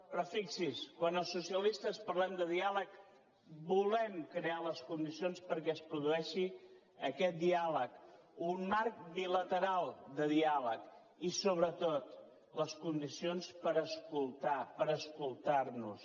però fixi’s quan els socialistes parlem de diàleg volem crear les condicions perquè es produeixi aquest diàleg un marc bilateral de diàleg i sobretot les condicions per escoltar per escoltarnos